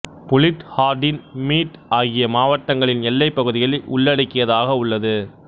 bullied ஹார்டின் மீட் ஆகிய மாவட்டங்களின் எல்லைப் பகுதிகளை உள்ளடக்கியதாக உள்ளது